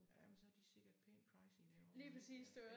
Ja men så de sikkert pænt pricey derovre der ja ja